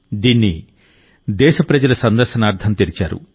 దీన్ని దేశప్రజల సందర్శనార్థం తెరిచారు